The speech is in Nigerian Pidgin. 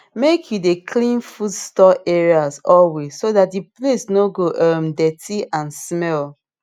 make you dey clean food store area always so that the place no go um dirty and smell